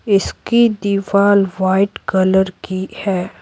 इसकी दीवार white colour की है।